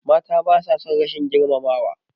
Mata basa son rashin girmamawa.